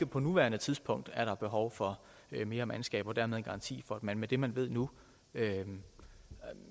på nuværende tidspunkt er der ikke behov for mere mandskab dermed en garanti for at man med det man har nu